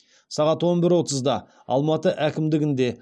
сағат он бір отызда алматы әкімдігінде